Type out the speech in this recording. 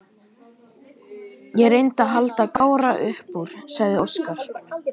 Ég reyndi að halda Kára upp úr, sagði Óskar.